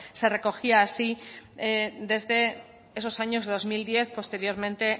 se recogía así desde esos años de dos mil diez posteriormente